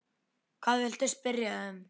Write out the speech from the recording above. Hvað viltu spyrja um?